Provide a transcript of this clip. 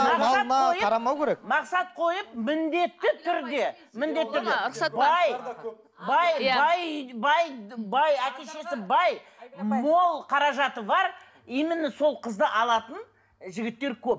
қарамау керек мақсат қойып міндетті түрде міндетті түрде бай бай бай бай бай әке шешесі бай мол қаражаты бар именно сол қызды алатын жігіттер көп